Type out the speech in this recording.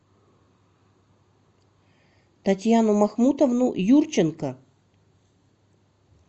татьяну махмутовну юрченко